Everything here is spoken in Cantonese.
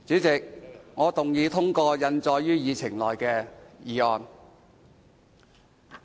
主席，我動議通過印載於議程內的議案。